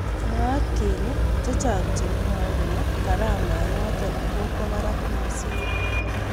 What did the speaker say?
Mwaat kele chechang chemwae kele karamet notok koba barak missing.